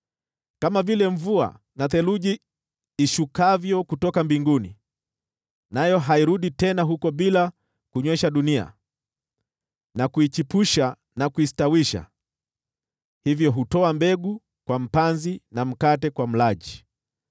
Kama vile mvua na theluji ishukavyo kutoka mbinguni, nayo hairudi tena huko bila kunywesha dunia na kuichipusha na kuistawisha, hivyo hutoa mbegu kwa mpanzi na mkate kwa mlaji,